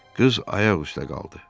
Qız ayaq üstə qaldı.